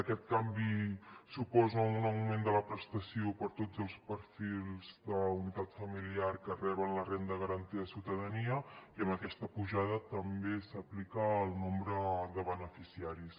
aquest canvi suposa un augment de la prestació per a tots els perfils de la unitat familiar que reben la renda garantida de ciutadania i aquesta pujada també s’aplica al nombre de beneficiaris